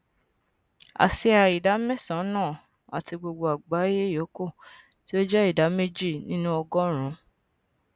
asia ìdá mẹsànán àti gbogbo àgbáyé yòókù tí ó jẹ ìdá méjì nínú ọgọrùnún